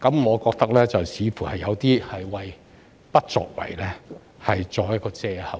我覺得這說法似乎是要為"不作為"找藉口。